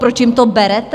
Proč jim to berete?